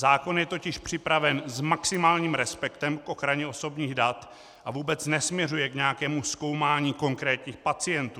Zákon je totiž připraven s maximálním respektem k ochraně osobních dat a vůbec nesměřuje k nějakému zkoumání konkrétních pacientů.